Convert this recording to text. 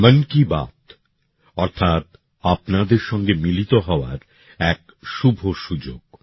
মন কি বাত অর্থাৎ আপনাদের সঙ্গে মিলিত হওয়ার এক শুভ সুযোগ